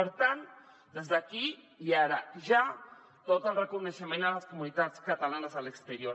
per tant des d’aquí i ara ja tot el reconeixement a les comunitats catalanes a l’exterior